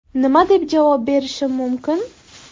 Nima deb javob berishim mumkin?